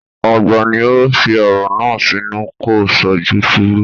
Àgbà ní ọ, fi ọ̀rọ̀ náà sínú ko ṣojú fúrú.